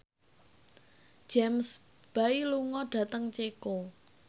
James Bay lunga dhateng Ceko